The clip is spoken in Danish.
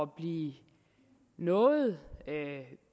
blive noget